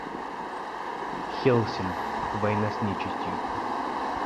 хеллсинг война с нечистью